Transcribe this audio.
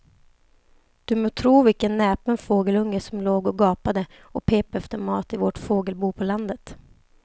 Du må tro vilken näpen fågelunge som låg och gapade och pep efter mat i vårt fågelbo på landet.